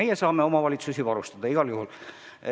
Me saame omavalitsusi varustada igal juhul.